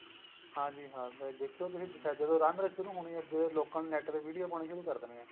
ਹਾਂਜੀ ਹਾਂ ਮੈਂ ਦੇਖਿਆ ਜਦੋ ਲੀਲਾ ਸ਼ੁਰੂ ਹੋਣੀ ਏ ਲੋਕਾਂ ਨੇ NET ਤੇ video ਪਾਉਣੀ ਸ਼ੁਰੂ ਕ਼ਰ ਦੇਣੀ ਏ